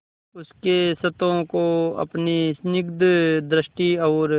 उसके क्षतों को अपनी स्निग्ध दृष्टि और